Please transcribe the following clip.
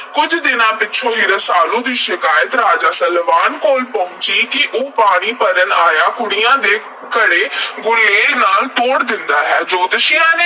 ਕੁੱਝ ਦਿਨਾਂ ਪਿੱਛੋਂ ਹੀ ਰਸਾਲੂ ਦੀ ਸ਼ਿਕਾਇਤ ਰਾਜਾ ਸਲਵਾਨ ਕੋਲ ਪਹੁੰਚੀ ਕਿ ਉਹ ਪਾਣੀ ਭਰਨ ਆਈਆਂ ਕੁੜੀਆਂ ਦੇ ਘੜੇ ਗੁਲੇਲ ਨਾਲ ਤੋੜ ਦਿੰਦਾ ਹੈ। ਜੋਤਸ਼ੀਆਂ ਦੇ